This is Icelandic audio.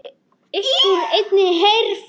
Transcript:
Uppúr einni herför